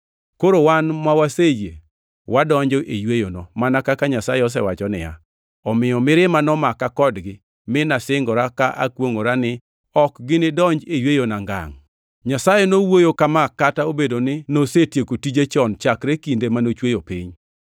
Koro wan maweseyie wadonjo e yweyono, mana kaka Nyasaye osewacho niya, “Omiyo mirima nomaka kodgi, mi nasingora ka akwongʼora ni, ‘Ok ginidonji e yweyona ngangʼ.’ ”+ 4:3 \+xt Zab 95:11\+xt* Nyasaye nowuoyo kama kata obedo ni nosetieko tije chon chakre kinde manochweyo piny.